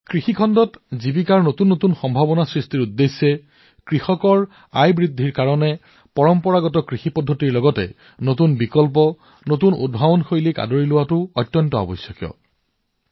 কৃষি খণ্ডত নতুন নিয়োগৰ সুযোগ সৃষ্টি কৰিবলৈ কৃষকসকলৰ উপাৰ্জন বৃদ্ধি কৰিবলৈ পৰম্পৰাগত কৃষি নতুন বিকল্প নতুন উদ্ভাৱন গ্ৰহণৰ সৈতে ই সমানে প্ৰয়োজনীয়